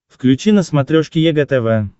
включи на смотрешке егэ тв